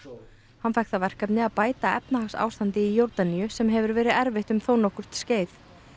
hann fékk það verkefni að bæta efnahagsástandið í Jórdaníu sem hefur verið erfitt um þó nokkurt skeið